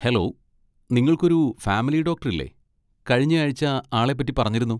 Hello, നിങ്ങൾക്കൊരു family doctor ഇല്ലേ? കഴിഞ്ഞ ആഴ്ച ആളെ പറ്റി പറഞ്ഞിരുന്നു.